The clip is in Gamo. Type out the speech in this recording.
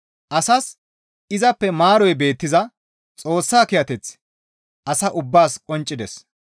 Asas izappe maaroy beettiza Xoossa kiyateththi asa ubbaas qonccides.